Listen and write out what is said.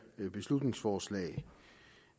beslutningsforslag